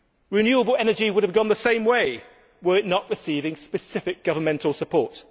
Renewable energy would have gone the same way were it not receiving specific governmental support.